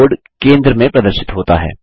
keyboard केंद्र में प्रदर्शित होता है